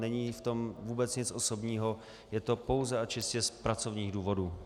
Není v tom vůbec nic osobního, je to pouze a čistě z pracovních důvodů.